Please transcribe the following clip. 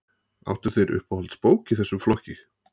Áttu þér uppáhalds bók í þessum flokki?